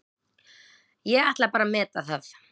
Ég ætla bara að meta það.